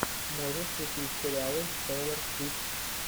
можешь включить сериалы тейлор свифт